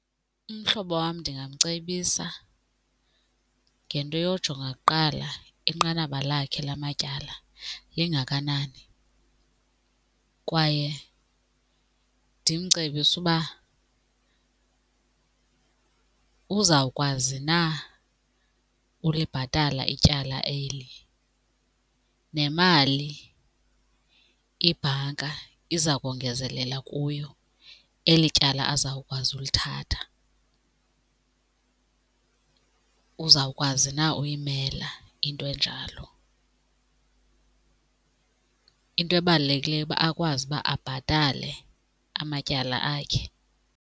Umhlobo wam ndingamcebisa ngento yojonga kuqala inqanaba lakhe lamatyala lingakanani kwaye ndimcebise uba uzawukwazi na ulibhatala ityala eli nemali ibhanka izakongezelela kuyo eli tyala azawukwazi ulithatha, uzawukwazi na uyimela into enjalo. Into ebalulekileyo uba akwazi uba abhatale amatyala akhe.